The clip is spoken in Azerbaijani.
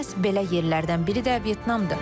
Məhz belə yerlərdən biri də Vyetnamdır.